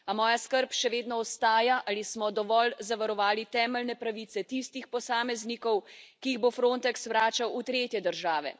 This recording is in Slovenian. A moja skrb še vedno ostaja, ali smo dovolj zavarovali temeljne pravice tistih posameznikov, ki jih bo Frontex vračal v tretje države.